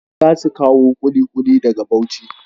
Za su kawo ƙuliƙuli daga Bauchi.